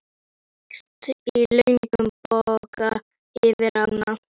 Þú gekkst í löngum boga yfir ána.